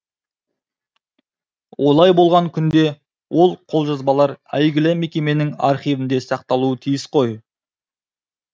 олай болған күнде ол қолжазбалар әйгілі мекеменің архивінде сақталуы тиіс қой